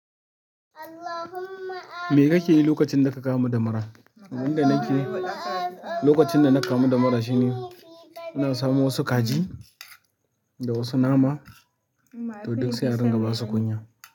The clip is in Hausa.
Me kakeyi lokacin daka kamu da mura? Abin da nakeyi lokacin dana kamu da mura shine, ina samo wasu kaji da wasu nama, to duk sai a rinƙa basu kunya.